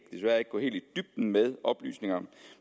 gå helt i dybden med oplysningerne